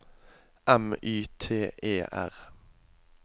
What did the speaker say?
M Y T E R